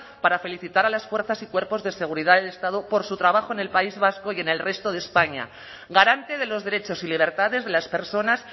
para felicitar a las fuerzas y cuerpos de seguridad del estado por su trabajo en el país vasco y en el resto de españa garante de los derechos y libertades de las personas